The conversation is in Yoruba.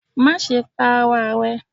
Maṣe pa ara rẹ